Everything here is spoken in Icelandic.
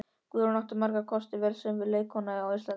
Guðrún átti ekki margra kosta völ sem leikkona á Íslandi.